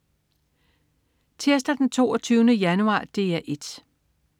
Tirsdag den 22. januar - DR 1: